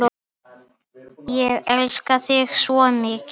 Ég elska þig svo mikið.